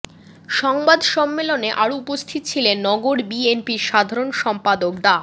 সংবাদ সম্মেলনে আরও উপস্থিত ছিলেন নগর বিএনপির সাধারণ সম্পাদক ডা